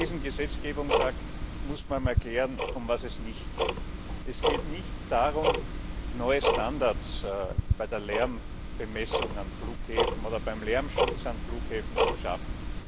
Bei diesem Gesetzgebungsakt muss man erklären, um was es nicht geht. Es geht nicht darum, neue Standards bei der Lärmmessung an Flughäfen oder beim Lärmschutz an Flughäfen zu schaffen.